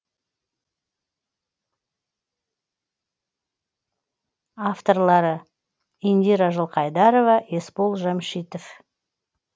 авторлары индира жылқайдарова есбол жәмшитов